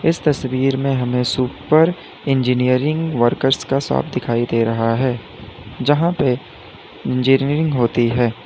इस तस्वीर में हमें सुपर इंजीनियरिंग वर्कर्स का शॉप दिखाई दे रहा है जहां पे इंजीनियरिंग होती है।